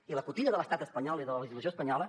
i la cotilla de l’estat espanyol i de la legislació espanyola